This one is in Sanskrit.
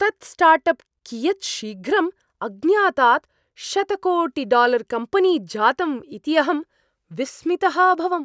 तत् स्टार्ट् अप् कियत् शीघ्रम् अज्ञातात् शतकोटिडालर्कम्पेनी जातम् इति अहं विस्मितः अभवम्।